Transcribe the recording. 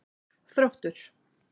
Þróttur